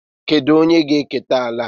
Ònye ga-eketa ala a?